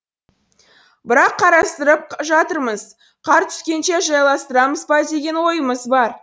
бірақ қарастырып жатырмыз қар түскенше жайластырамыз ба деген ойымыз бар